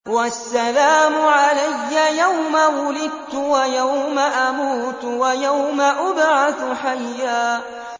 وَالسَّلَامُ عَلَيَّ يَوْمَ وُلِدتُّ وَيَوْمَ أَمُوتُ وَيَوْمَ أُبْعَثُ حَيًّا